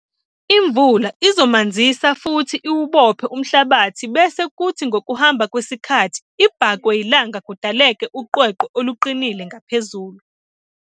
Imvula izomanzisa futhi iwubophe umhlabathi bese kuthi ngokuhamba kwesikhathi ibhakwe yilanga kudaleke uqweqwe oluqinile ngaphezulu.